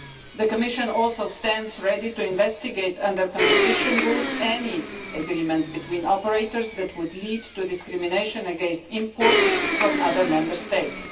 The Commission also stands ready to investigate, under competition rules, any agreements between operators that would lead to discrimination against imports from other Member States.